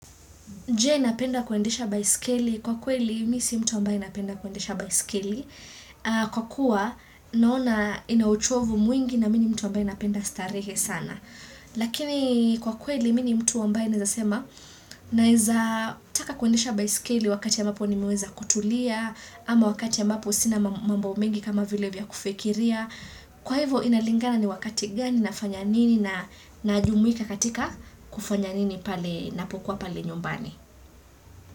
Jee, napenda kuendesha baiskeli? Kwa kweli mimi si mtu ambae napenda kuendesha baiskeli, kwa kuwa naona ina uchovu mwingi na mimi ni mtu ambae napenda starehe sana. Lakini, kwa kweli mimi ni mtu ambae naweza sema naweza taka kuendisha baiskeli wakati ambapo nimeweza kutulia, ama wakati ambapo sina mambo mengi kama vile vya kufikiria. Kwa hivyo inalingana ni wakati gani, na fanya nini, na jumuika katika kufanya nini na pokuwa pale nyumbani.